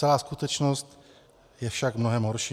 Celá skutečnost je však mnohem horší.